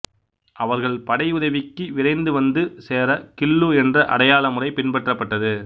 அவர்கள் படை உதவிக்கு விரைந்து வந்து சேர கிள்ளு என்ற அடையாள முறை பின்பற்றப்பட்டது